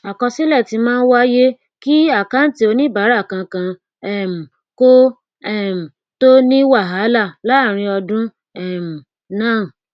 àkọsílẹ tí máa ń wáyé kí àkáǹtì oníbàárà kankan um kò um tó ní wàhálà láàárín ọdún um náà